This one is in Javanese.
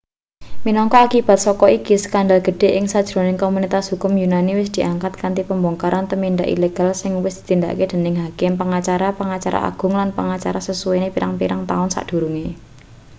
minangka akibat saka iki skandal gedhe ing sajroning komunitas hukum yunani wis diangkat kanthi pembongkaran tumindak ilegal sing wis ditindakake dening hakim pengacara pengacara agung lan pengacara sasuwene pirang-pirang taun sadurunge